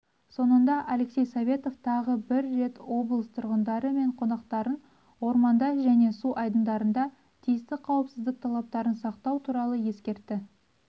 соңында алексей советов тағы бір рет облыс тұрғындары мен қонақтарын орманда және су айдындарында тиісті қауіпсіздік талаптарын сақтау туралы ескертті